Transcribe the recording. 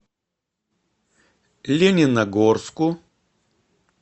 лениногорску